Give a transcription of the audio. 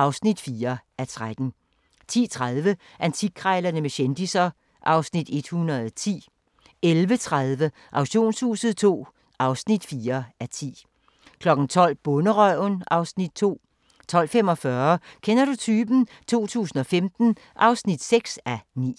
(4:13)* 10:30: Antikkrejlerne med kendisser (Afs. 110) 11:30: Auktionshuset II (4:10) 12:00: Bonderøven (Afs. 2) 12:45: Kender du typen? 2015 (6:9)